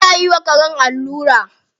Ana yi wa karen allura.